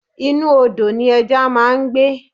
Inú Odò ni ẹja máa ń gbé.